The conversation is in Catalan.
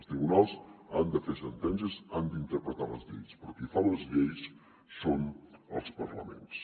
els tribunals han de fer sentències han d’interpretar les lleis però qui fa les lleis són els parlaments